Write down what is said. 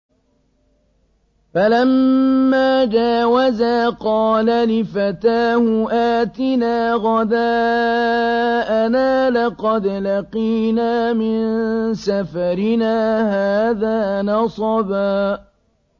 فَلَمَّا جَاوَزَا قَالَ لِفَتَاهُ آتِنَا غَدَاءَنَا لَقَدْ لَقِينَا مِن سَفَرِنَا هَٰذَا نَصَبًا